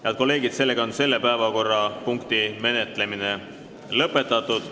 Head kolleegid, selle päevakorrapunkti menetlemine on lõpetatud.